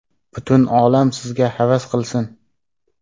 Butun olam sizga havas qilsin!